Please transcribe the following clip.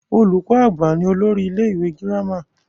Olùkọ àgbà ni olórí ilé ìwé gírámà.